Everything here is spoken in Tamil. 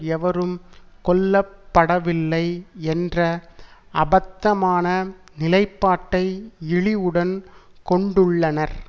எவரும் கொல்லப்படவில்லை என்ற அபத்தமான நிலைப்பாட்டை இழிவுடன் கொண்டுள்ளனர்